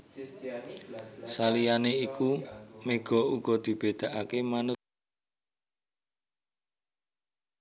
Saliyané iku méga uga dibédakaké manut suhu lingkungan fisik atmosfer